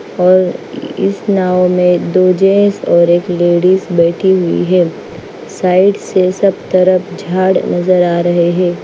और इस नाव में दो जेंस और एक लेडीज बैठी हुई है साइड से सब तरफ झाड़ नजर आ रहे हैं।